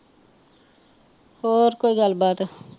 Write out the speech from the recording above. ਹੋਰ ਕੋਈ ਗੱਲ ਬਾਤ